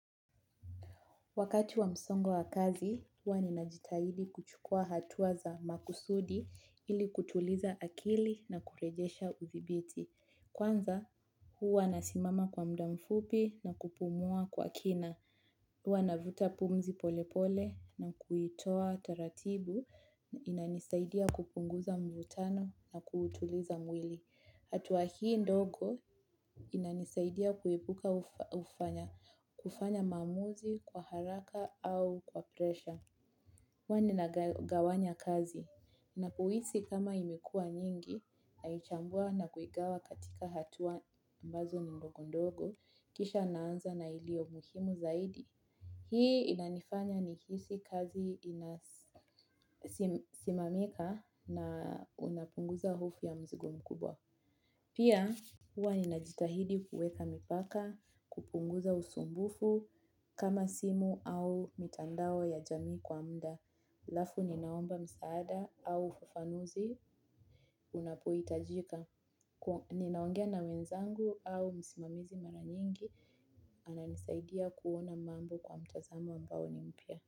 Wakati wa msongo wa kazi, huwa ni najitahidi kuchukua hatua za makusudi ili kutuliza akili na kurejesha uthibiti. Kwanza, huwa nasimama kwa muda mfupi na kupumua kwa kina. Huwa navuta pumzi polepole na kuitoa taratibu na inanisaidia kupunguza mvutano na kutuliza mwili. Hatua hii ndogo inanisaidia kuibuka kufanya maamuzi kwa haraka au kwa presha. Huwa nina gawanya kazi. Napohisi kama imekuwa nyingi, naichambua na kuigawa katika hatuwa ambazo ni ndogo ndogo, kisha naanza na ilio muhimu zaidi. Hii inanifanya ni hisi kazi inasimamika na inapunguza hofu ya mzigo mkubwa. Pia, huwa ninajitahidi kuweka mipaka, kupunguza usumbufu, kama simu au mitandao ya jamii kwa mda, alafu ninaomba msaada au ufafanuzi, unapoitajika, ninaongea na wenzangu au msimamizi mara nyingi, ananisaidia kuona mambo kwa mtazamo ambao nimpya.